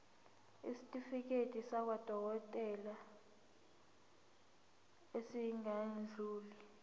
isitifiketi sakwadokodela esingadluli